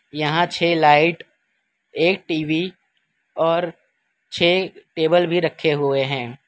यहां छे लाइट एक टी_वी और छे टेबल भी रखे हुए हैं।